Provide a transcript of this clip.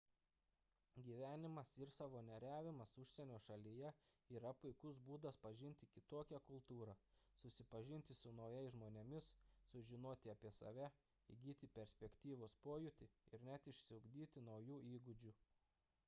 gyvenimas ir savanoriavimas užsienio šalyje yra puikus būdas pažinti kitokią kultūrą susipažinti su naujais žmonėmis sužinoti apie save įgyti perspektyvos pojūtį ir net išsiugdyti naujų įgūdžių